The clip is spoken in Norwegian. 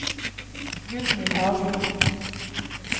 Gudny Haglund